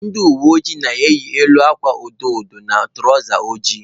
Ndị uweojii na-eyi elu akwa edo edo na tụrawza ojii.